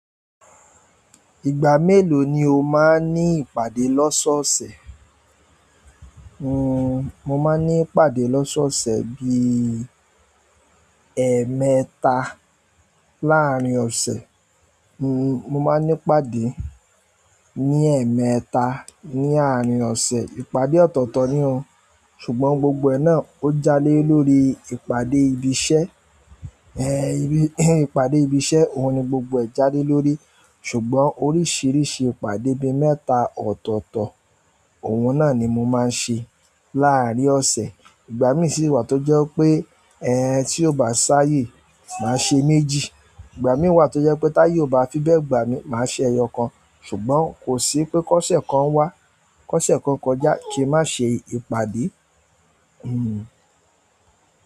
Ìgbà mélòó ni o máa ní ìpàdé lọ́sọ̀ọ̀sẹ̀? Mo máa ní ìpàdé lọ́sọ̀ọ̀sẹ̀ bí i ẹmẹta láàrín ọ̀sẹ̀. Mo máa ní ìpàdé ní ẹmẹta ní àárín ọ̀sẹ̀. Ìpàdé ọ̀tọ̀ọ̀tọ̀ ni ó, ṣùgbọ́n gbogbo ẹ náà ó jále lórí ìpàdé ibi iṣẹ́. Ìpàdé ibi iṣẹ́ òun ni gbogbo ẹ jáde lórí. Ṣùgbọ́n oríṣìíríṣìí ìpàdé bí i mẹ́ta ọ̀tọ̀ọ̀tọ̀, òun náà ni mo máa ń ṣe láàrín ọ̀sẹ̀. Ìgbà mi sì wà tó jẹ́ pé tí ó bá ṣáyé màá ṣe méjì, ìgbà mi wà tó jẹ́ pé táyé ò bá fi bẹ gbà mí, màá ṣe ẹyọ kan. Ṣùgbọ́n kò sí pé kọ́sẹ̀ kan wá, kọ́sẹ̀ kan kọjá kí n má ṣe ìpàdé.